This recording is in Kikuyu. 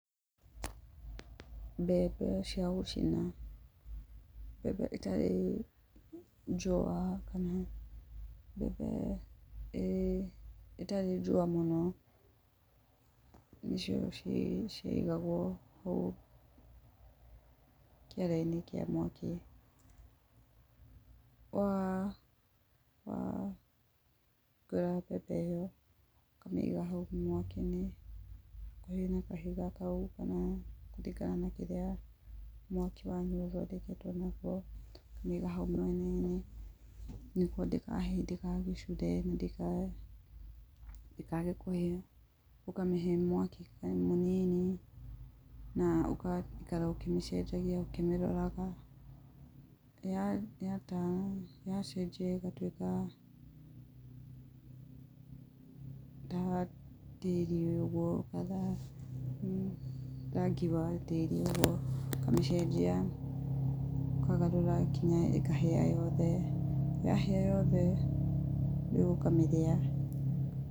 Mbembe cia gũcina, mbembe ĩtarĩ njũa kana mbembe ĩtarĩ njũa mũno nĩcio ciaigagwo ũũ kĩara-inĩ kĩa mwaki, wa ĩkĩra mbembe ĩyo ũkamĩiga hau mwaki-inĩ hakuhe na kahiga kau kana kũringana na kĩrĩa mwaki wanyu ũthondeketwo nakĩo, ũkamĩiga hau mwenan-inĩ nĩguo ndĩgagĩcure na ndĩkaage kũhĩa ũkamĩhe mwaki o mũnini na ũgaikara ũkĩmĩcenjagia ũkĩmĩroraga ya turn, yacenjia ĩgatuĩka rangi wa tĩri ũguo ũkamĩcenjia ũkamĩgarũra nginya ĩkahĩa yothe, yahĩa yothe ũkamĩrĩa.